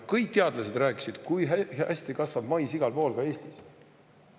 Kõik teadlased rääkisid, kui hästi kasvab mais igal pool, ka Eestis.